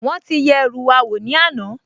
Wọ́n ti yẹ ẹrú wa wò ní àná